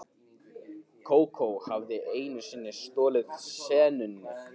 Kókó hafði einu sinni stolið senunni.